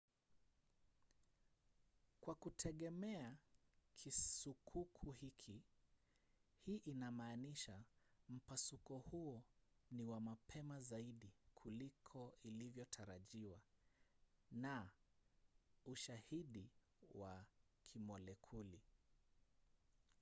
"kwa kutegemea kisukuku hiki hii inamaanisha mpasuko huo ni wa mapema zaidi kuliko ilivyotarajiwa na ushahidi wa kimolekuli